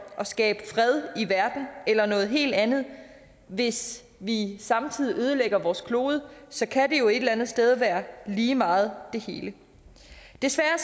og skabe fred i verden eller noget helt andet hvis vi samtidig ødelægger vores klode så kan det jo et eller andet sted være lige meget det hele desværre